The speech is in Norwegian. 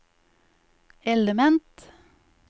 element